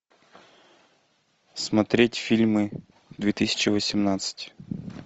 смотреть фильмы две тысячи восемнадцать